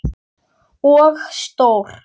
Og stór.